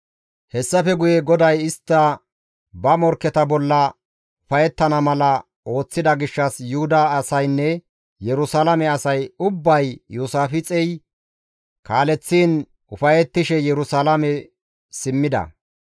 Hessafe guye GODAY istti ba morkketa bolla ufayettana mala ooththida gishshas Yuhuda asaynne Yerusalaame asay ubbay Iyoosaafixey kaaleththiin ufayettishe Yerusalaame simmida.